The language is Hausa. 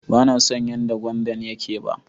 Ban so yan da gwandan yake ba.